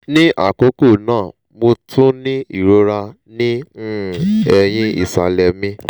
ni akoko naa mo tun ni irora ni um ẹhin isalẹ mi